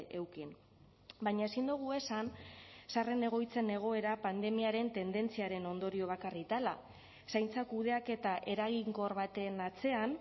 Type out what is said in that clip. eduki baina ezin dugu esan zaharren egoitzen egoera pandemiaren tendentziaren ondorio bakarrik dela zaintza kudeaketa eraginkor baten atzean